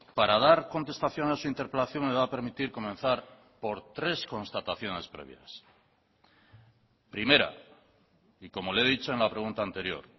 para dar contestación a su interpelación me va a permitir comenzar por tres constataciones previas primera y como le he dicho en la pregunta anterior